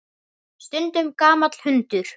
Stundum gamall hundur.